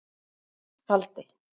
Valdi